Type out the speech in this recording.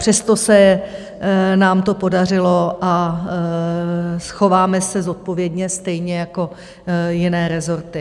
Přesto se nám to podařilo a chováme se zodpovědně, stejně jako jiné rezorty.